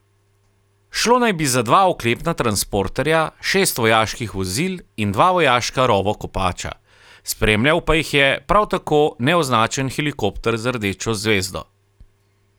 Šlo naj bi za dva oklepna transporterja, šest vojaških vozil in dva vojaška rovokopača, spremljal pa jih je prav tako neoznačen helikopter z rdečo zvezdo.